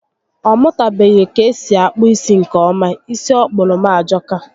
Ọ mụtabeghi k'esi akpụ isi nkè ọma. Isi ọ kpụrụ m ajọka